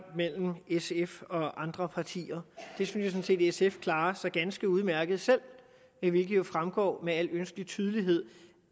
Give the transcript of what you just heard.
mellem sf og andre partier det synes jeg sådan set sf klarer så ganske udmærket selv hvilket jo fremgår med al ønskelig tydelighed